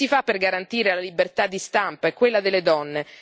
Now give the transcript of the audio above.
Cosa si fa per garantire la libertà di stampa e quella delle donne?